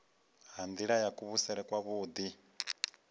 ha nila ya kuvhusele kwavhui